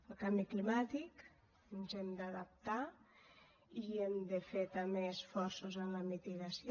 el canvi climàtic ens hi hem d’adaptar i hem de fer també esforços en la mitigació